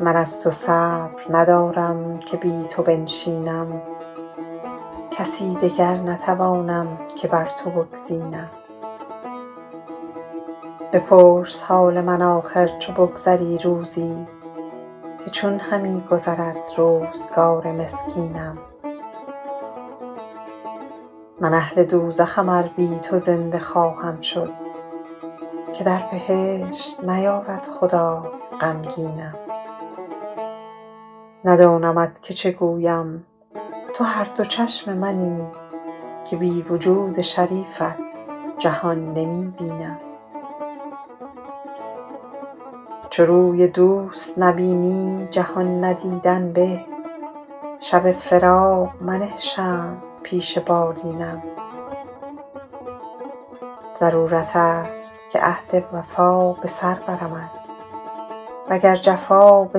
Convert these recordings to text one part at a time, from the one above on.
من از تو صبر ندارم که بی تو بنشینم کسی دگر نتوانم که بر تو بگزینم بپرس حال من آخر چو بگذری روزی که چون همی گذرد روزگار مسکینم من اهل دوزخم ار بی تو زنده خواهم شد که در بهشت نیارد خدای غمگینم ندانمت که چه گویم تو هر دو چشم منی که بی وجود شریفت جهان نمی بینم چو روی دوست نبینی جهان ندیدن به شب فراق منه شمع پیش بالینم ضرورت است که عهد وفا به سر برمت و گر جفا به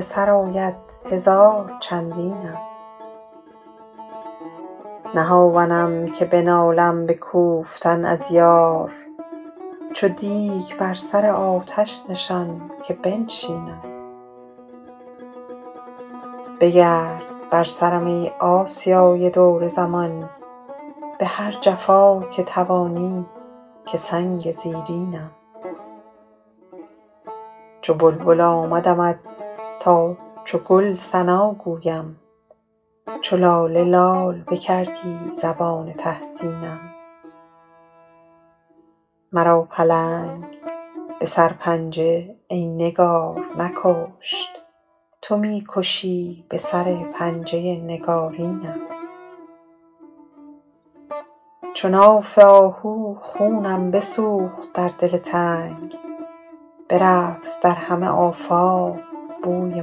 سر آید هزار چندینم نه هاونم که بنالم به کوفتی از یار چو دیگ بر سر آتش نشان که بنشینم بگرد بر سرم ای آسیای دور زمان به هر جفا که توانی که سنگ زیرینم چو بلبل آمدمت تا چو گل ثنا گویم چو لاله لال بکردی زبان تحسینم مرا پلنگ به سرپنجه ای نگار نکشت تو می کشی به سر پنجه نگارینم چو ناف آهو خونم بسوخت در دل تنگ برفت در همه آفاق بوی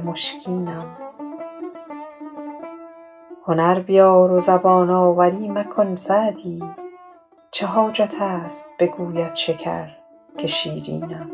مشکینم هنر بیار و زبان آوری مکن سعدی چه حاجت است بگوید شکر که شیرینم